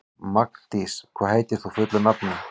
Magndís, hvað heitir þú fullu nafni?